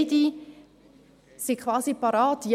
beide seien quasi bereit.